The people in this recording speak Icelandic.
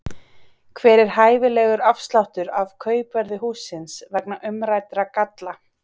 Hver er hæfilegur afsláttur af kaupverði hússins vegna umræddra galla?